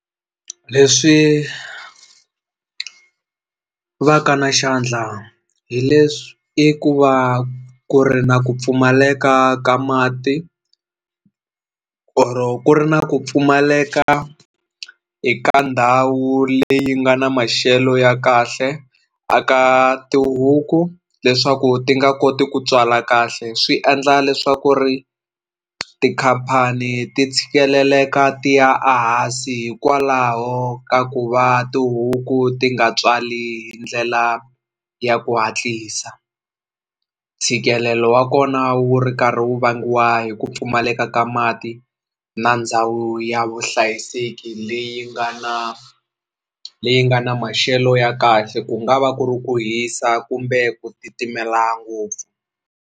Leswi va ka na xandla hi leswi i ku va ku ri na ku pfumaleka ka mati or ku ri na ku pfumaleka eka ndhawu leyi nga na maxelo ya kahle a ka tihuku leswaku ti nga koti ku tswala kahle swi endla leswaku ri tikhampani ti tshikeleleka ti ya a hansi hikwalaho ka ku va tihuku ti nga tswali hi ndlela ya ku hatlisa ntshikelelo wa kona wu ri karhi wu vangiwa hi ku pfumaleka ka mati na ndhawu ya vuhlayiseki leyi nga na leyi nga na maxelo ya kahle ku nga va ku ri ku hisa kumbe ku titimela ngopfu.